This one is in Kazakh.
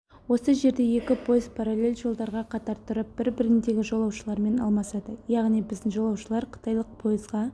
осы жерде екі пойыз параллель жолдарға қатар тұрып бір-біріндегі жолаушылармен алмасады яғни біздің жолаушылар қытайлық пойызға